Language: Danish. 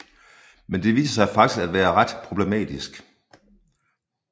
Men det viser sig faktisk at være ret problematisk